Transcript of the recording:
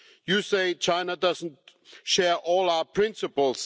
You say China does not share all our principles.